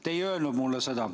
Te ei öelnud mulle seda.